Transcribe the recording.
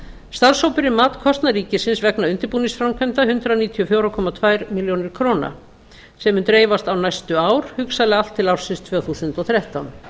starfshópurinn mat kostnað ríkisins vegna undirbúningsframkvæmda hundrað níutíu og fjögur komma tveimur milljónum króna sem mun dreifast á næstu ár hugsanlega allt til ársins tvö þúsund og þrettán